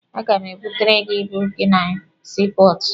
A ga m ebutere gị ibu gị na sii pọọtụ.